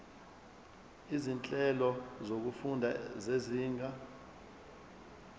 izinhlelo zokufunda zezinga